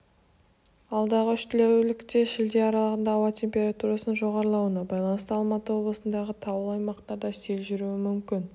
алдағы үш тәулікте шілде аралығында ауа температурасының жоғарылауына байланысты алматы облысындағы таулы аймақтарда сел жүруі мүмкін